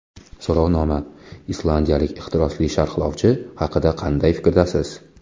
So‘rovnoma: Islandiyalik ehtirosli sharhlovchi haqida qanday fikrdasiz?.